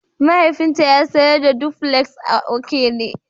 Mahaifinta ya sayar da dupuleks a Okene.